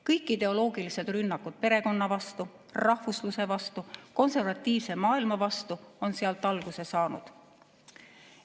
Kõik ideoloogilised rünnakud perekonna vastu, rahvusluse vastu, konservatiivse maailma vastu on sealt alguse saanud.